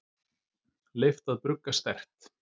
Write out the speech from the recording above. Leyft að brugga sterkt